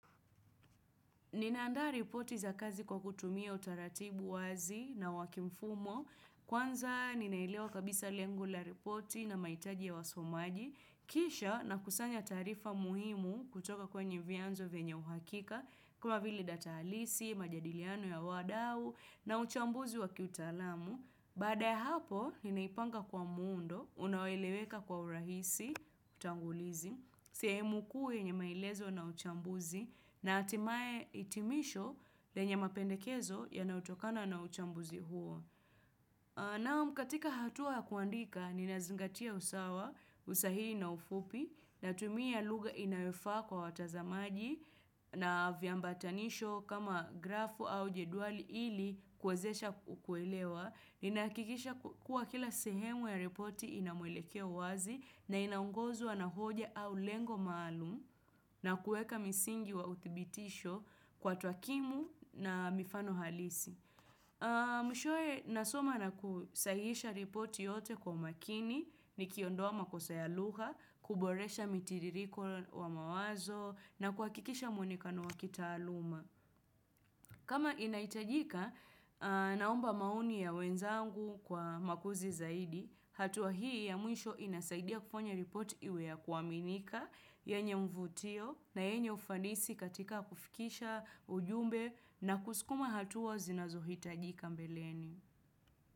Ninaandaa ripoti za kazi kwa kutumia utaratibu wazi na wakimfumo, kwanza ninailewa kabisa lengo la ripoti na maitaji ya wasomaji, kisha na kusanya tarifa muhimu kutoka kwenye vianzo venye uhakika, kama vili data alisi, majadiliano ya wadau na uchambuzi wa kiutalamu. Baada ya hapo, ninaipanga kwa muundo, unaweleweka kwa urahisi, utangulizi, sehemu kuu yenye maelezo na uchambuzi, na atimae itimisho lenye mapendekezo ya nautokana na uchambuzi huo. Naam katika hatua kuandika, ninazingatia usawa, usahiri na ufupi, na tumia lugha inayofa kwa watazamaji na viambatanisho kama grafu au jeduali ili kwezesha ukuelewa. Ninakikisha kuwa kila sehemu ya reporti inamwelekea wazi na inaungozwa na hoja au lengo maalum na kueka misingi wa utibitisho kwa twakimu na mifano halisi. Mwishowe nasoma na kusahisha ripoti yote kwa makini ni kiondoa makosa ya lugha kuboresha mitiririko wa mawazo na kuakikisha mwenikano wakitaluma. Kama inaitajika naomba maoni ya wenzangu kwa makuzi zaidi, hatuwa hii ya mwisho inasaidia kufanya report iwea kuwaminika, yenye mvutio na yenye ufansi katika kufikisha ujumbe na kusukuma hatuwa zinazohitajika mbeleni.